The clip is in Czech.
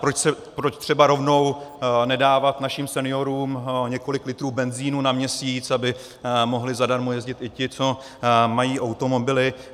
Proč třeba rovnou nedávat našim seniorům několik litrů benzinu na měsíc, aby mohli zadarmo jezdit i ti, co mají automobily.